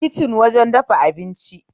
Kicin wajen dafa abinci